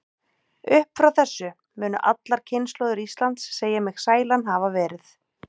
Upp frá þessu munu allar kynslóðir Íslands segja mig sælan hafa verið.